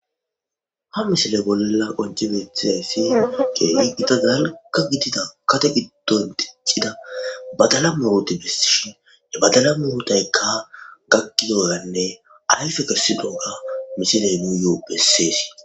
Ha missile bolla qoncci bettizayisi kehi gitta dalgga gidida gadde giddon diccida baddala murutta besishen he baddala muruttayika gakiddoganne ayiffe kessidoga missileyi nuyo bessesi.